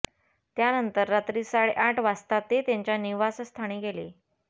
त्यानंतर रात्री साडे आठ वाजता ते त्यांच्या निवासस्थानी गेले